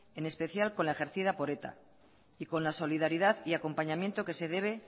en especial con la ejercida por eta y con la solidaridad y acompañamiento que se debe